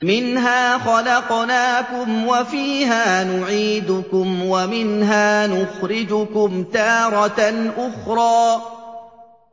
۞ مِنْهَا خَلَقْنَاكُمْ وَفِيهَا نُعِيدُكُمْ وَمِنْهَا نُخْرِجُكُمْ تَارَةً أُخْرَىٰ